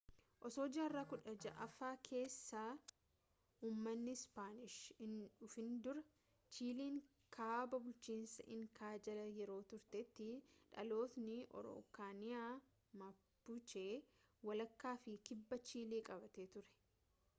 osoo jaarraa 16ffaa keessa ummanni ispaanish hin dhufin dura chiiliin kaabaa bulchiinsa inkaa jala yeroo turtetti dhalattoonni arookaaniyaa mapuche walakkaa fi kibba chiilii qabattee turte